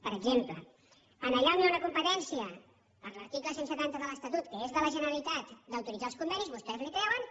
per exemple allà on hi ha una competència per l’article cent i setanta de l’estatut que és de la generalitat d’autoritzar els convenis vostès la treuen i